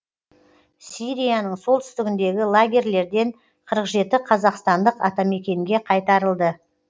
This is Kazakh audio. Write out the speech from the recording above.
сирияның солтүстігіндегі лагерьлерден қырық жеті қазақстандық атамекенге қайтарылды